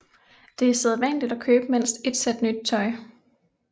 Det er sædvanligt at købe mindst et sæt nyt tøj